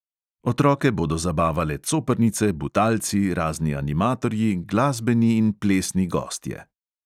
Otroke bodo zabavale coprnice, butalci, razni animatorji, glasbeni in plesni gostje.